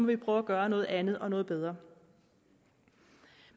vi prøve at gøre noget andet og noget bedre